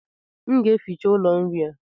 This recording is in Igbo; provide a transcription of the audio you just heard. M ga-eficha ụlọ nri a